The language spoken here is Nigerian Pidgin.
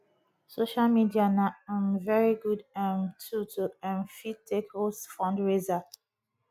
social media na um very good um tool to um fit take host fundraiser